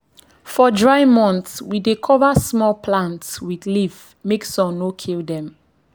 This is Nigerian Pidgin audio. for dry months we dey cover small plants with leaf make sun no kill dem.